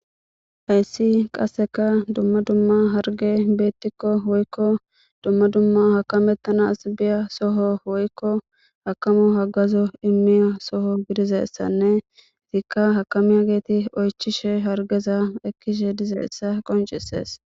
Hayssi qasseka dumma dumma harge beettikko woykko dumma dumma hakamettanas biya soho woykko hakamu hagazo immiya soho gidizessanne ziikka hakamiya geeti oychishe hargeza ekkishe dizeessa qoncisees